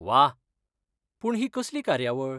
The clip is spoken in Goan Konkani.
वाह! पूण ही कसली कार्यावळ?